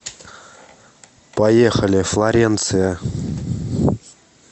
поехали флоренция